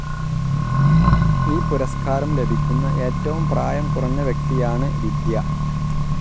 ഈ പുരസ്ക്കാരം ലഭിക്കുന്ന ഏറ്റവും പ്രായം കുറഞ്ഞ വ്യക്തിയാണ് വിദ്യ.